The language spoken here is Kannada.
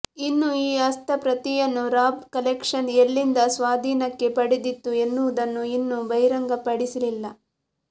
ಇನ್ನು ಈ ಹಸ್ತಪ್ರತಿಯನ್ನು ರಾಬ್ ಕಲೆಕ್ಷನ್ ಎಲ್ಲಿಂದ ಸ್ವಾಧೀನಕ್ಕೆ ಪಡೆದಿತ್ತು ಎನ್ನುವುದನ್ನು ಇನ್ನೂ ಬಹಿರಂಗಪಡಿಸಿಲ್ಲ